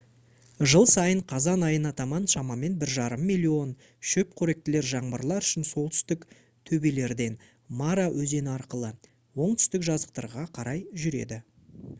жыл сайын қазан айына таман шамамен 1,5 миллион шөпқоректілер жаңбырлар үшін солтүстік төбелерден мара өзені арқылы оңтүстік жазықтықтарға қарай жүреді